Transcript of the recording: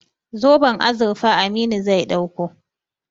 Zoben azurfa Aminu zai ɗauko.